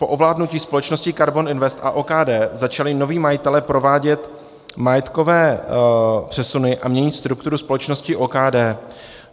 Po ovládnutí společnosti KARBON INVEST a OKD začali noví majitelé provádět majetkové přesuny a měnit strukturu společnosti OKD.